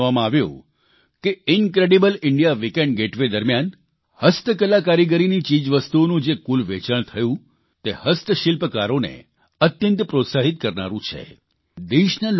મને એ પણ જણાવવામાં આવ્યું કે ઇન્ક્રેડિબલ ઇન્ડિયા વીકેન્ડ ગેટવે દરમ્યાન હસ્ત કલાકારીગરીની ચીજવસ્તુઓનું જે કુલ વેચાણ થયું તે હસ્તશિલ્પકારોને અત્યંત પ્રોત્સાહીત કરનારૂં છે